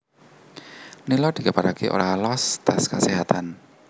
Nila dikabaraké ora loos tes keséhatan